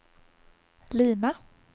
Lima